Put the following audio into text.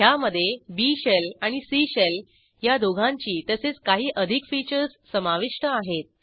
ह्यामधे B shell आणि C shell ह्या दोहोंची तसेच काही अधिक फीचर्स समाविष्ट आहेत